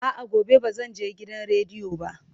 A'a, gobe ba zan je gidan rediyo ba.